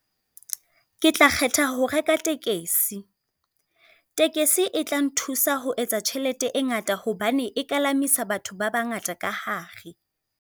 Ke tla kgetha ho reka tekesi. Tekesi e tla nthusa ho etsa tjhelete e ngata hobane e kalamisa batho ba ba ngata ka hare.